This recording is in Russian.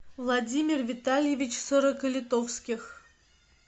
владимир витальевич сороколетовских